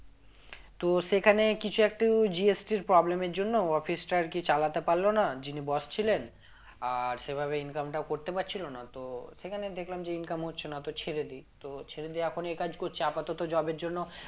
তো সেখানে কিছু একটু GST এর problem এর জন্য office টা আরকি চালাতে পারল না যিনি boss ছিলেন আর সেভাবে income টাও করতে পারছিল না তো সেখানে দেখলাম যে income হচ্ছে না তো ছেড়ে দি তো ছেড়ে দিয়ে এখন এই কাজ করছি আপাতত job এর জন্য